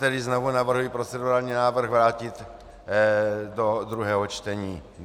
Tedy znovu navrhuji procedurální návrh vrátit do druhého čtení.